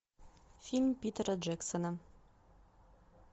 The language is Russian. фильм питера джексона